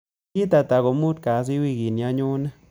Tarik ata ko muut kasi wiikini anyone